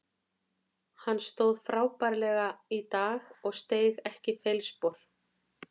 Hann stóð frábærlega í dag og steig ekki feilspor.